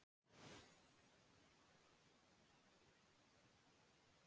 Hann var búinn að ráðstafa henni til Þjóðminjasafnsins til að sýna hvernig börn litu út.